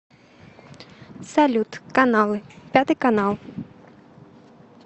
салют каналы пятый канал